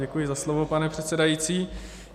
Děkuji za slovo, pane předsedající.